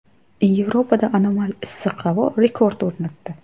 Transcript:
Yevropada anomal issiq havo rekord o‘rnatdi.